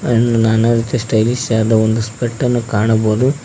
ಎಣ್ ನಾನಾ ರೀತಿಯ ಸ್ಟೈಲಿಶ್ ಯಾದ ಒಂದು ಸ್ಪೇಟನ್ನು ಕಾಣಬೋದು.